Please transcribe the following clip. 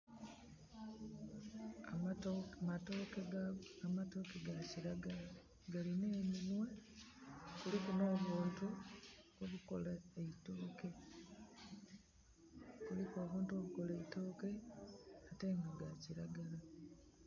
Amatooke ga kiragala, galina eminhwe. Kuliku nh'obuntu obukola eitooke. Kuliku obuntu obukola eitooke, ate nga ga kiragala.